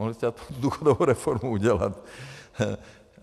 Mohli jste důchodovou reformu udělat.